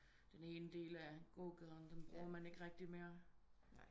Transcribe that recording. Den ene del af gågaden den bruger man ikke rigtigt mere